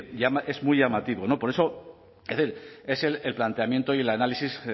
decir es muy llamativo por eso es el planteamiento y el análisis